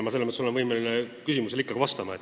Nii et ma olen võimeline küsimusele ikkagi vastama.